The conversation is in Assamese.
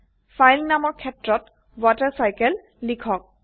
ফাইল নামৰ ক্ষেত্ৰত ৱাটাৰচাইকেল লিখক